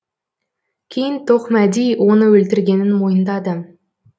кейін тоқмәди оны өлтіргенін мойындады